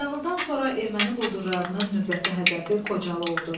Qaradağlıdan sonra erməni quldurlarının növbəti hədəfi Xocalı oldu.